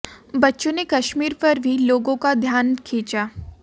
बच्चों ने कश्मीर पर भी लोगों का ध्यान खींचा